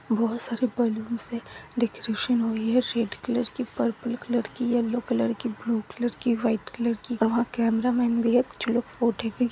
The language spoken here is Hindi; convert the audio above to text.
बोहोत सारी बैलून्स है डेकोरेशन हुई हैं रेड कलर की पर्पल कलर की येल्लो कलर की ब्लू कलर की व्हाइट कलर की वहाँ कैमरा मैन भी है कुछ लोग फोटो खिंच --